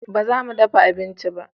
Ba za mu dafa abinci ba